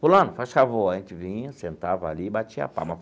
Fulano, faz o favor, a gente vinha, sentava ali e batia palma.